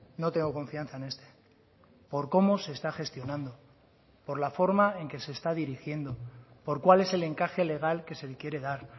no tengo confianza en este por cómo se está gestionando por la forma en que se está dirigiendo por cuál es el encaje legal que se le quiere dar